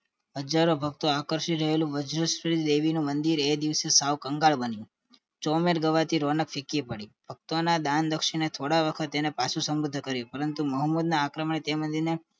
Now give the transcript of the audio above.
હજારો ભક્ત આકર્ષી રહેલું વચસવી દેવી મંદિર એ દિવસે સાવ કંગાળ બન્યું ચોમેર ગાવતી રોનક ફીકી પડી ભક્તના દાન દક્ષિણા થોડા વખત પાછું તેને સમુદ્ર કર્યું પરતું મોહમ્મદ આક્રમણને તે મંદિરને